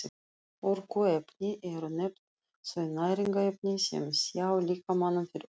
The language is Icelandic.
Orkuefni eru nefnd þau næringarefni sem sjá líkamanum fyrir orku.